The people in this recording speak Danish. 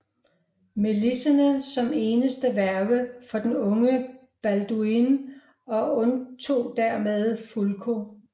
Melisende som eneste værge for den unge Balduin og undtog dermed Fulko